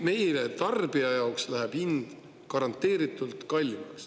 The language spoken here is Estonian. Meile, tarbijatele läheb hind garanteeritult kallimaks.